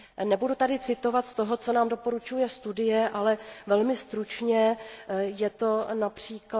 Nebudu tady citovat z toho, co nám doporučuje studie, ale velmi stručně je to např.